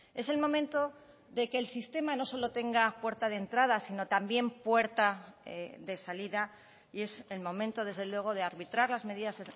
es el momento de que el sistema no solo tenga puerta de entrada sino también puerta de salida y es el momento desde luego de arbitrar las medidas